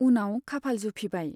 उनाव खाफाल जुफिबाय।